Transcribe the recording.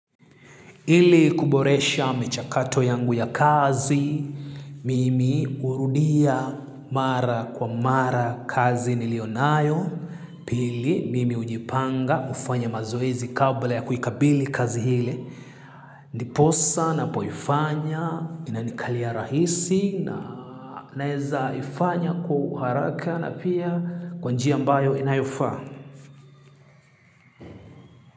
Ili kuboresha michakato yangu ya kazi, mimi hurudia mara kwa mara kazi nilionayo, pili mimi hujipanga kufanya mazoezi kabla ya kuikabili kazi ile. Ndiposa ninapoifanya inanikalia rahisi na naeza ifanya kwa uharaka na pia kwa njia ambayo inayofaa.